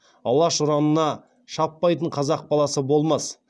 алаш ұранына шаппайтын қазақ баласы болмас